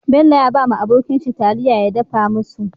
Bello ya bawa abokin shi taliya ya dafa musu